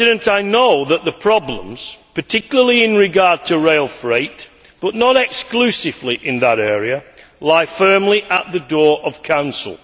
I know that the problems, particularly in regard to rail freight, but not exclusively in that area, lie firmly at the door of Council.